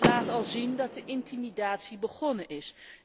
Het laat al zien dat de intimidatie begonnen is.